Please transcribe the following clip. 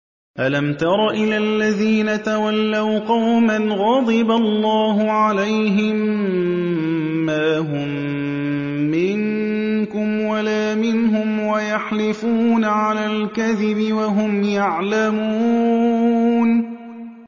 ۞ أَلَمْ تَرَ إِلَى الَّذِينَ تَوَلَّوْا قَوْمًا غَضِبَ اللَّهُ عَلَيْهِم مَّا هُم مِّنكُمْ وَلَا مِنْهُمْ وَيَحْلِفُونَ عَلَى الْكَذِبِ وَهُمْ يَعْلَمُونَ